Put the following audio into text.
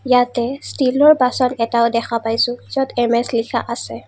ইয়াতে ষ্টিলৰ বাচন এটাও দেখা পাইছোঁ য'ত এম_এছ লিখা আছে।